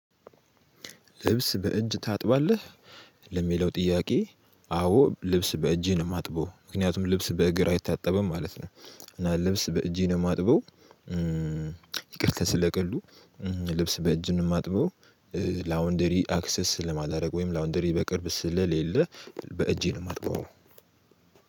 ልብስ በእጅ ታጥባለህ ለሚለው ጥያቄ አዎ ልብስ በእጄ ነው ማጥበው ምክንያቱም ልብስ በእግር አይታጠብም ማለት ነው። እና ልብስ በእጄ ነው የማጥበው። ይቅርታ ስለ ቀልዱ። ልብስ በእጅ ነው ማጥበው። ላውንደሪ አክሰስ ስለ ማላዳርግ ወይም ላውንደሪ በቅርብ ስለሌለ በእጄ ነው የማጥበው